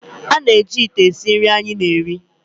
A na-eji ite esi nri anyị na-eri